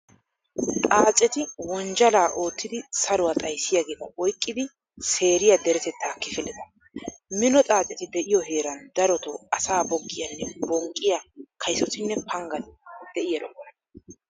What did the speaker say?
Xaaceti wonjjalaa oottidi saruwaa xayssiyageeta oyqqidi seeriya deretettaa kifileta. Mino xaaceti de'iyo heeran daroto asaa boggiyaanne bonqqiya kaysotinne panggati de'i erokkona.